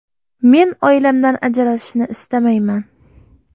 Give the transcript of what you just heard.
Men oilamdan ajralishni istamayman.